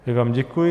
Já vám děkuji.